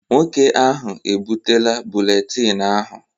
Nwoke ahụ ebutela buletin ahụ.